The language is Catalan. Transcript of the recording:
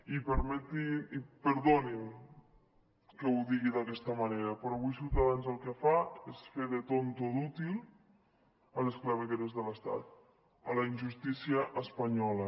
i perdonin que ho digui d’aquesta manera però avui ciutadans el que fa és fer de tonto útil a les clavegueres de l’estat a la injustícia espanyola